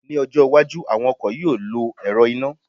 mi ọjọ iwájú, àwọn ọkọ̀ yíò lọ ẹ̀rọ iná